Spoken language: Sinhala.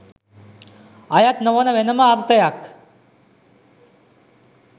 අයත් නොවන වෙනම අර්ථයක්